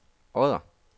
Odder